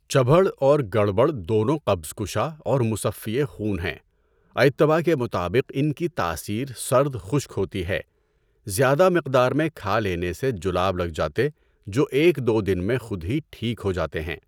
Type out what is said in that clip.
چبھڑ اور گربھڑ دونوں قبض کشا اور مُصّفّیِ خون ہیں۔ اطباء کے مطابق ان کی تاثیر سرد خشک ہوتی ہے۔ زیادہ مقدار میں کھا لینے سے جلاب لگ جاتے جو ایک دو دن میں خود ہی ٹھیک ہو جاتے ہیں۔